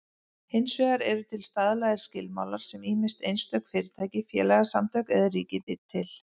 Hins vegar eru til staðlaðir skilmálar sem ýmist einstök fyrirtæki, félagasamtök eða ríkið býr til.